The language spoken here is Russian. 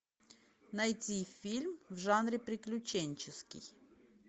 найти фильм в жанре приключенческий